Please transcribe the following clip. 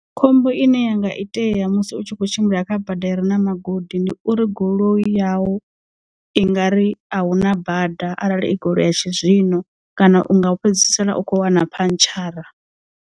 Khombo ine yanga itea musi u tshi kho tshimbila kha bada ire na magodi ndi uri goloi yau i nga ri ahuna bada arali i goloi ya tshizwino kana u nga fhedzisela u kho wana phantshara.